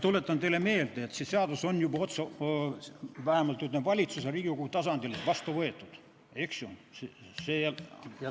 Tuletan teile meelde, et see seadus on juba vähemalt valitsuse ja Riigikogu tasandil vastu võetud.